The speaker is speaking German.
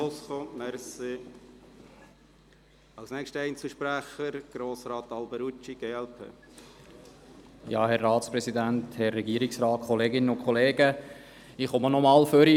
Ich komme nach vorne, um eigentlich zu wiederholen, was Kollege Trüssel bereits gesagt hat.